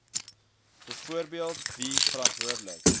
byvoorbeeld wie verantwoordelik